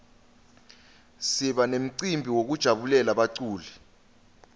siba memcibi yekujabulela baculi